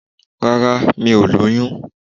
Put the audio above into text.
Rárá mi ò lóyún